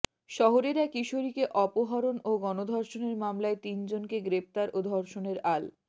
শহরের এক কিশোরীকে অপহরণ ও গণধর্ষণের মামলায় তিনজনকে গ্রেপ্তার ও ধর্ষণের আল